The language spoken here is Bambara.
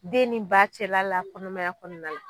Den ni ba cɛla la kɔnɔmaya kɔɔna la